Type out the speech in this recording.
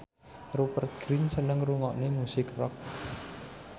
Rupert Grin seneng ngrungokne musik rock